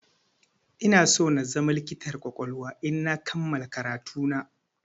Inaso na zama likitar ƙwaƙwalwa idan na kammala karatu na.